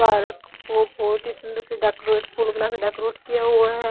Park को बहुत ही सुंदर से डेकोरेट फूल बना के डेकोरेट किया हुआ है।